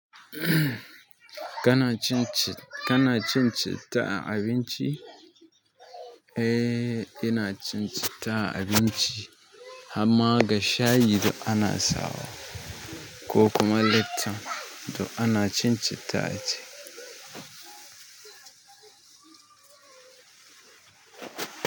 Kana cin citta a abinci? Eh, ina cin cita a abinci, hamma ga shayi duk ana sawa ko kuma lepton da ana cin citta ce.